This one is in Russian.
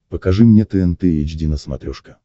покажи мне тнт эйч ди на смотрешке